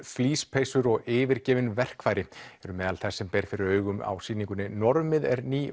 flíspeysur og yfirgefin verkfæri eru meðal þess sem ber fyrir augum á sýningunni normið er ný